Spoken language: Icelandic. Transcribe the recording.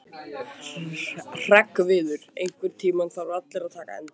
Hreggviður, einhvern tímann þarf allt að taka enda.